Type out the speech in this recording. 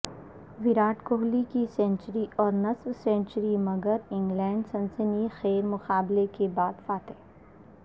وراٹ کوہلی کی سینچری اور نصف سینچری مگر انگلینڈ سنسنی خیز مقابلے کے بعد فاتح